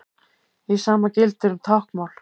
Hið sama gildir um táknmál.